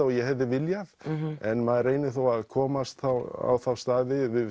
og ég hefði viljað en maður reynir þá að komast á þá staði við